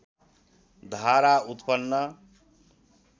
धारा उत्पन्न